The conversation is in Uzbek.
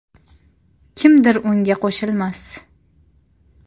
Kimdir unga qo‘shilmas.